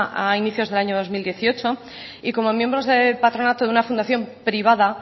a inicios del año dos mil dieciocho y como miembros del patronato de una fundación privada